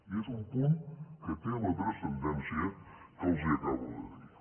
i és un punt que té la transcendència que els acabo de dir